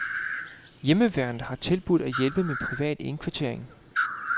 Hjemmeværnet har tilbudt at hjælpe med privat indkvartering.